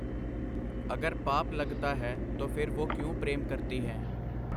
ਅਗਰ ਪਾਪ ਲਗਤਾ ਹੈ ਤੋ ਫਿਰ ਵੁਹ ਕਿਉਂ ਪ੍ਰੇਮ ਕਰਤੀ ਹੈਂ ?”.